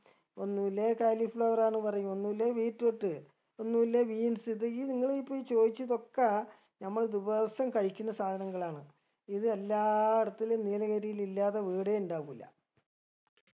ഒന്നുല്ലേ കാലി flower ആണ് പറയും ഒന്നുല്ലേ beetroot ഒന്നുല്ലേ beans ഇത് ഇ നിങ്ങള് ഇപ്പൊ ഈ ചോയ്ച്ചത് ഒക്ക നമ്മള് ദിവസും കഴിക്കുന്ന സാധനങ്ങളാണ് ഇത് എല്ലാ എടത്തിലും നീലഗിരിയിൽ ഇല്ലാത്ത വീടെ ഇണ്ടാവൂല